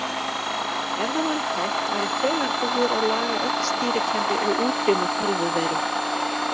Ef það væri hægt væri þegar búið að laga öll stýrikerfi og útrýma tölvuveirum.